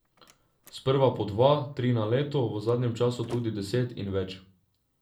Sprva po dva, tri na leto, v zadnjem času tudi deset in več.